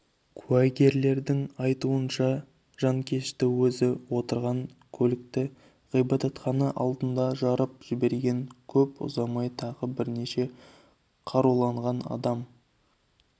куәгерлердің айтуынша жанкешті өзі отырған көлікті ғибадатхана алдында жарып жіберген көп ұзамай тағы бірнеше қаруланған адам